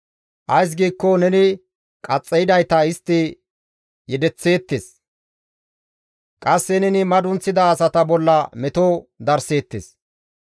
Ays giikko neni qaxxaydayta istti yedeththeettes; qasse neni madunththida asata bolla meto darseettes.